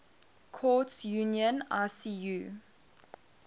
courts union icu